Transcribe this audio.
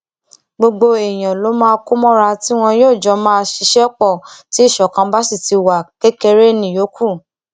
gbogbo èèyàn ló máa kó mọra tí wọn jọ máa ṣiṣẹ pọ tí ìṣọkan bá sì ti wá kékeré níyókù